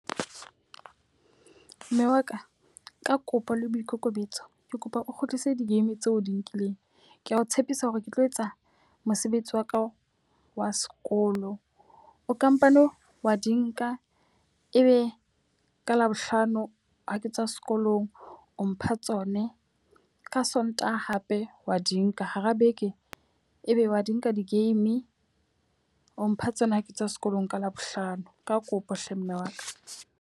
Mme wa ka ka kopo le boikokobetso, ke kopa o kgutlise di-game tseo o di nkileng. Ke a o tshepisa hore ke tlo etsa mosebetsi wa ka wa sekolo, o ka mpane wa di nka e be ka Labohlano ha ke tswa sekolong o mpha tsone ka Sontaha hape wa di nka. Hara beke e be wa di nka di-game, o mpha tsona ha ke tswa sekolong ka Labohlano. Ka kopo hle mme wa ka.